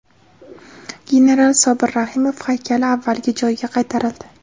General Sobir Rahimov haykali avvalgi joyiga qaytarildi .